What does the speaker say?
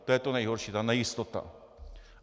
To je to nejhorší, ta nejistota.